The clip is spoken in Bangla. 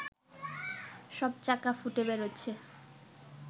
সব চাকা ফুটে বেরোচ্ছে